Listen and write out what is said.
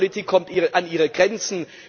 Die Geldpolitik kommt an ihre Grenzen.